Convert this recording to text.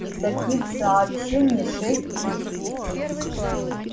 и таких сообщений шесть или семь